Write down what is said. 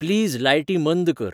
please लायटी मंद कर